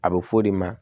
A bɛ f'o de ma